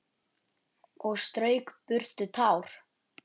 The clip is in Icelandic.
Og strauk burtu tár.